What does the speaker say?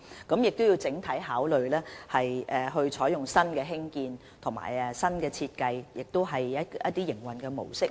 我們須從整體考慮，採用新的興建方法、新的設計，也希望改善營運模式。